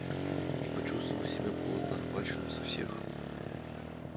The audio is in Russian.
и почувствовал себя плотно охваченным со всех